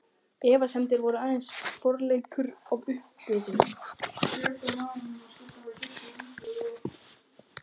Efasemdir voru aðeins forleikur að uppgjöf.